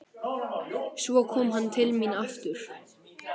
Svo kom hann til mín aftur.